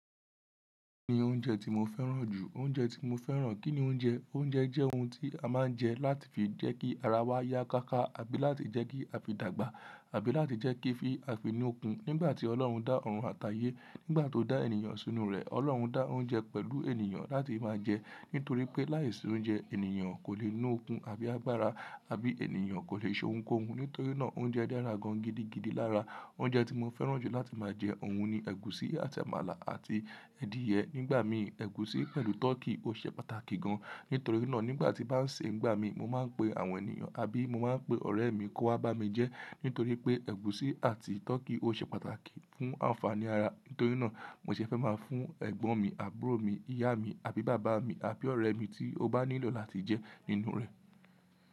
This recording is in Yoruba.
Kí ni oúnjẹ tí mo fẹ́ràn jù? Oúnjẹ tí mo fẹ́ràn. Kí ni oúnjẹ? Oúnjẹ jẹ́ oun tí a máa ń jẹ láti fi jẹ́ kí ara wa yá káákáà bí láti jẹ́ kí a fi dàgbà àbí láti jẹ́ kí fi a fi ni okun. Nígbà tí Ọlọ́run dá ọ̀run àti ayé, nígbà tó dá ènìyàn sínú rẹ̀, Ọlọ́run dá oúnjẹ pẹ̀lú ènìyàn láti máa jẹ́. Nítorí pé láìsí oúnjẹ, ènìyàn kò leè ní okun àbí agbára, àbí ènìyàn kò leè ṣe ohun koun. Nítorí náà oúnjẹ dára gan gidi gidi lára. Oúnjẹ tí mo fẹ́ràn jù láti máa jẹ òun ni ẹ̀gúsí àti àmàlà àti ẹ́dìyẹ. Nígbà mi, ẹ̀gúsí pẹ̀lú tọ́kì ó ṣe pàtàkì gan. Nítorí náà nígbà tí bá ń ṣe, nígbà mi mo máa ń pe àwọn ènìyàn àbí mo máa ń pe ọ̀rẹ́ mi kó wá bá mi jẹ́. Nítorí pé ẹ̀gúsí àti tọ́kì ó ṣe pàtàkì fún ànfàní ara. Nítorí náà mó ṣe fẹ́ máa fún ẹ̀gbọ́n mi, àbúrò mi, ìyá mi, àbí bàbá mi, àbí ọ̀rẹ́ mi tí ó bá nílò láti jẹ́ nínú rẹ̀.